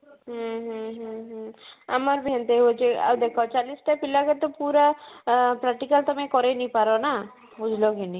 ହୁଁ ହୁଁ ହୁଁ ହୁଁ ଆମର ବି ଏନ୍ତା ହଉଛି ଆଉ ଦେଖ ଚାଳିଶ ଟା ପିଲା ପୁରା practical ତମେ କରେଇ ନେଇ ପାର ନା ବୁଝିଲ କି ନାଇଁ